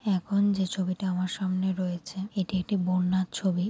এখন যে ছবিটি আমার সামনে রয়েছে। এটি একটি বন্যার ছবি।